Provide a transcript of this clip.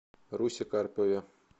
русе карпове